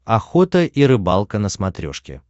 охота и рыбалка на смотрешке